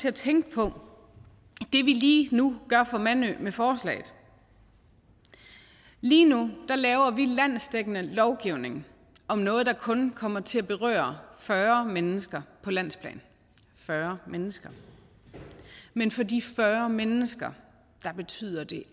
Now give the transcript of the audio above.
at tænke på det vi lige nu gør for mandø med forslaget lige nu laver vi landsdækkende lovgivning om noget der kun kommer til at berøre fyrre mennesker på landsplan fyrre mennesker men for de fyrre mennesker betyder det